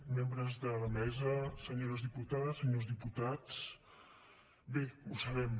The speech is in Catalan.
membres de la mesa senyores diputades senyors diputats bé ho sabem